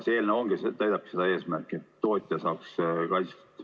See eelnõu teenibki seda eesmärki, et tootja saaks kaitstud.